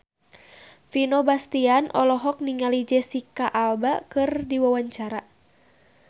Vino Bastian olohok ningali Jesicca Alba keur diwawancara